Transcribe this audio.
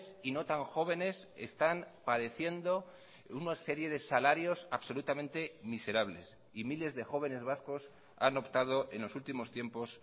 y no tan jóvenes están padeciendo una serie de salarios absolutamente miserables y miles de jóvenes vascos han optado en los últimos tiempos